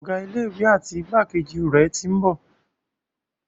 Ọ̀gá ilé ìwé àti igbákejì rẹ̀ tí ń bọ̀.